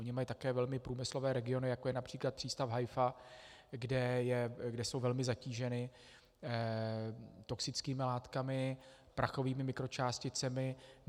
Oni mají také velmi průmyslové regiony, jako je například přístav Haifa, které jsou velmi zatíženy toxickými látkami, prachovými mikročásticemi.